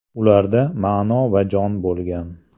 Ularda ma’no va jon bo‘lgan.